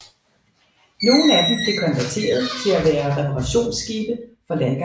Nogle af dem blev konverteret til at være reparationsskibe for landgangsbåde